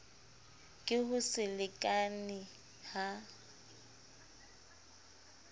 ke ho se lekalekane ha